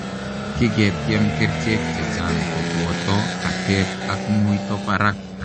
Kiketyeem kericheek chechaang kopotoo katet ak muitoo paraak